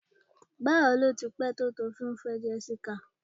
Bawo ni o ti pẹ̀ to ti o ti n fẹ Jessica?